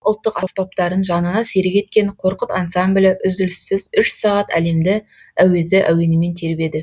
ұлтымыздың ұлттық аспаптарын жанына серік еткен қорқыт ансамблі үзіліссіз үш сағат әлемді әуезді әуенімен тербеді